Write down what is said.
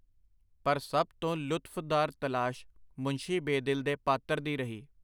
ਪਰ ਸਭ ਤੋਂ ਲੁਤਫਦਾਰ ਤਲਾਸ਼ ਮੁੰਸ਼ੀ ਬੇਦਿਲ ਦੇ ਪਾਤਰ ਦੀ ਰਹੀ.